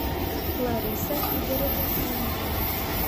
лариса игоревна демидова